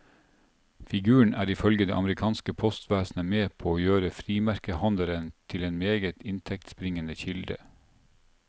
Figuren er ifølge det amerikanske postvesenet med på å gjøre frimerkehandelen til en meget inntektsbringende kilde.